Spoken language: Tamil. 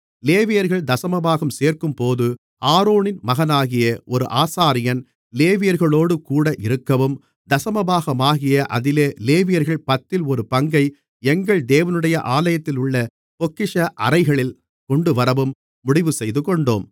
லேவியர்கள் தசமபாகம் சேர்க்கும்போது ஆரோனின் மகனாகிய ஒரு ஆசாரியன் லேவியர்களோடுகூட இருக்கவும் தசமபாகமாகிய அதிலே லேவியர்கள் பத்தில் ஒரு பங்கை எங்கள் தேவனுடைய ஆலயத்திலுள்ள பொக்கிஷ அறைகளில் கொண்டுவரவும் முடிவுசெய்துகொண்டோம்